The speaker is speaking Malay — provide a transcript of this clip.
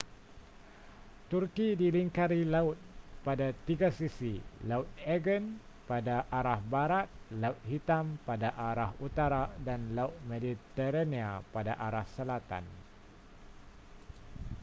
turki dilingkari laut pada tiga sisi laut aegean pada arah barat laut hitam pada arah utara dan laut mediterania pada arah selatan